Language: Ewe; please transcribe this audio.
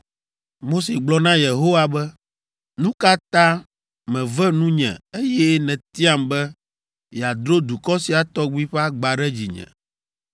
Mose gblɔ na Yehowa be, “Nu ka ta mève nu nye eye nètiam be yeadro dukɔ sia tɔgbi ƒe agba ɖe dzinye?